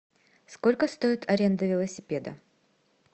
сколько стоит аренда велосипеда